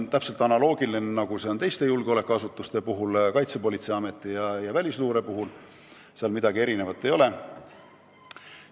Samamoodi on ka teiste julgeolekuasutuste puhul, Kaitsepolitseiameti ja välisluure puhul – midagi erinevat ei ole.